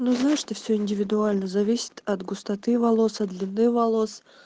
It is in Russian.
ну знаешь это все индивидуально зависит от густоты волос от длины волос